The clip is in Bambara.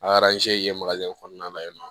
A ye in kɔnɔna la yen nɔ